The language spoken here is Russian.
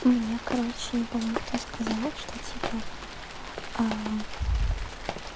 мне короче не помню кто сказал что типа